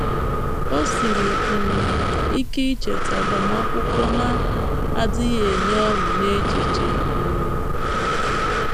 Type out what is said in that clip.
O siri um ike ichetụ agbamakwụkwọ na - adịghị enye ọṅụ n’echiche. um